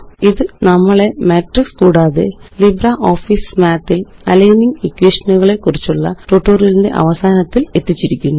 ഇത് നമ്മളെ മാട്രിക്സ് കൂടാതെ ലിബ്രിയോഫീസ് മാത്ത് ല് അലൈനിംഗ് ഇക്വേഷനുകളെക്കുറിച്ചുള്ള ട്യൂട്ടോറിയലിന്റെ അവസാനത്തില് എത്തിച്ചിരിക്കുന്നു